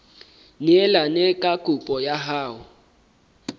neelane ka kopo ya hao